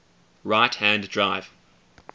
right hand drive